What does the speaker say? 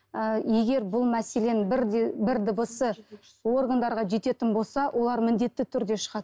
ы егер бұл мәселені бірде бір дыбысы органдарға жететін болса олар міндетті түрде шығады